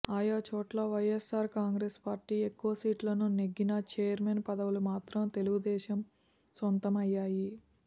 ఆయాచోట్ల YSR Congress party ఎక్కువ సీట్లను నెగ్గినా చైర్మన్ పదవులు మాత్రం తెలుగుదేశం సొంతం అయ్యాయి